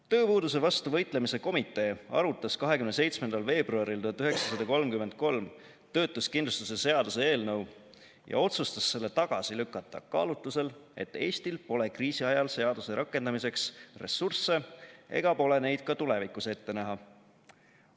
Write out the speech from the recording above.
Tööpuuduse vastu võitlemise komitee arutas 27. veebruaril 1933 töötuskindlustuse seaduse eelnõu ja otsustas selle tagasi lükata kaalutlusel, et Eestil pole kriisiajal seaduse rakendamiseks ressursse ega pole neid ka tulevikus ette näha.